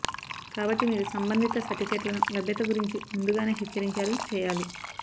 కాబట్టి మీరు సంబంధిత సర్టిఫికెట్లను లభ్యత గురించి ముందుగానే హెచ్చరించారు చేయాలి